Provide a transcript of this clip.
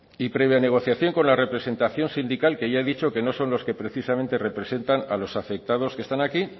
y previa negociación con la representación sindical que ya he dicho que no son los que precisamente representan a los afectados que están aquí